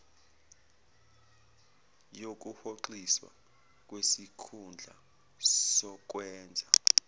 yokuhoxiswa kwesikhundla sokwenza